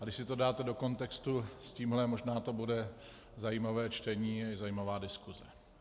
A když si to dáte do kontextu s tímhle, možná to bude zajímavé čtení, zajímavá diskuse.